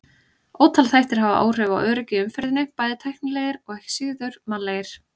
Ótal þættir hafa áhrif á öryggi í umferðinni, bæði tæknilegir og ekki síður mannlegir.